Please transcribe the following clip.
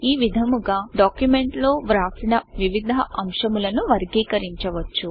ఈ విధముగా డాక్యుమెంట్ లో వ్రాసిన వివిధ అంశములను వర్గీకరించవచ్చు